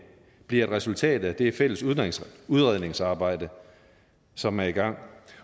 bliver et resultat af det fælles udredningsarbejde som er i gang